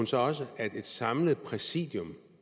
så også at det samlede præsidium